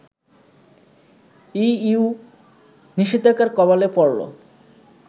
EU নিষেধাজ্ঞার কবলে পড়ল